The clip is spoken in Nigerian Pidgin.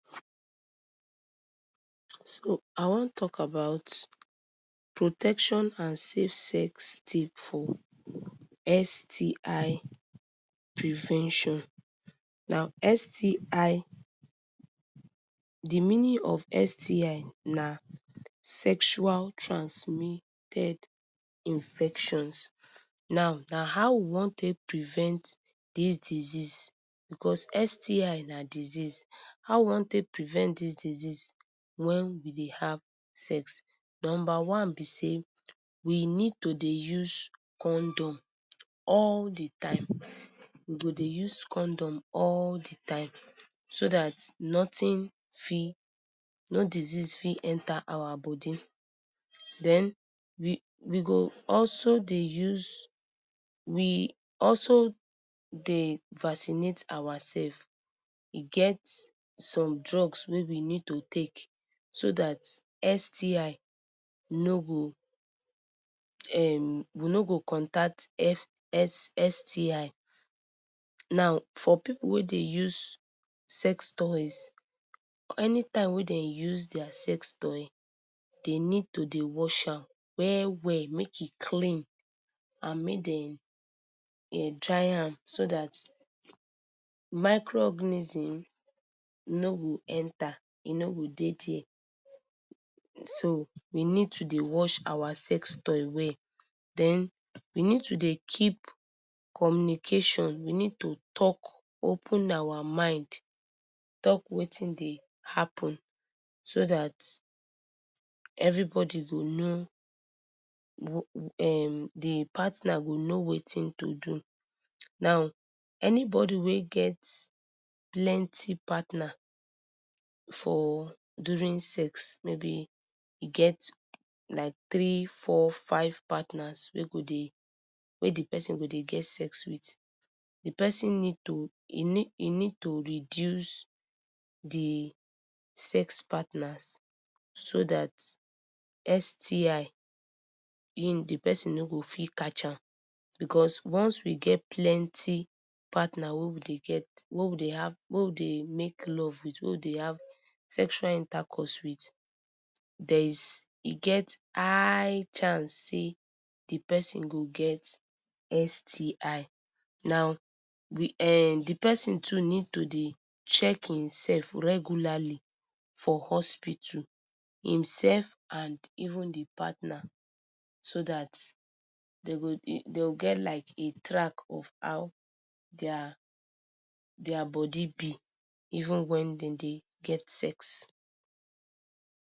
So I wan talk about protection and safe sex tip for STI prevention. Now STI, di meaning of STI na Sexual Transmitted Infections, now na how we wan take prevent dis disease because STI na disease, how we wan take prevent things disease wen we dey have sex. Number one na say we need to dey use condom all di time we go dey use condom all di time so dat notin fit no disease fit enter our body. Den we we go also dey use we also dey vaccinate ourselves e get some drugs wey we need to take so dat STI no go um we no go contact S STI. Now for pipu wey dey use sex toys, anytime wey de use dia sex toy dey need to dey wash an well well make e clean and make dem dry am so dat microorganism no go enter e no go dey dia. So we need to dey wash our sex toys well, den we need to dey keep communication we need to talk, open our mind talk watin dey happen so dat everybody go know um di partner go know watin to do, now anybody wey get plenty partner for during sex maybe e get like three, four, five partners wey go dey wey di pesin for dey get sex wit di pesin need e need e need to reduce di sex partners so dat STI e di person no go fit catch am because once we get plenty partner wey we dey have sexual intercourse wit there is e get high chance say di pesin go get STI. Now, we um di pesin need to dey check himself regularly for hospital himself and even di partner so dat dem go dey dem go get like a track of how dia dia body be even when dem dey get sex.